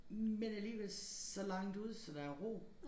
Men alligevel så langt ude så der er ro